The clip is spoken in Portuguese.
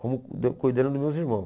Como da cuidando dos meus irmãos.